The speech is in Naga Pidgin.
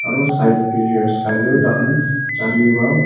aru side player khan tar khan chale para--